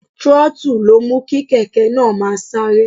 Throttle ló mú kí kèké náà máa sáré.